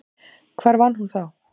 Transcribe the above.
Hvar var hún þá?